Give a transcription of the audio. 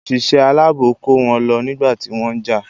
Òṣìṣẹ́ aláàbò kó wọn lọ nígbà tí wọ́n jà.